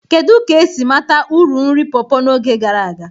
Kedu ka esi mata uru nri pawpaws n'oge gara aga?